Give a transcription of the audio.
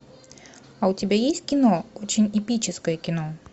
а у тебя есть кино очень эпическое кино